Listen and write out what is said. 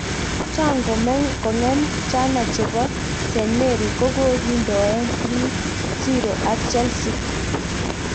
Cheang kogeem chano chepo st Mary kokokindoen 3-0 ak chelsea